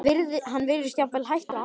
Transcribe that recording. Hann virðist jafnvel hættur að anda.